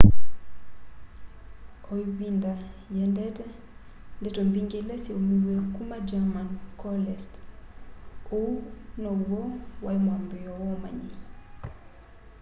o ivinda yiendete ndeto mbingi ila syaumiw'e kuma german coalesced uu niw'o wai mwambiio wa umanyi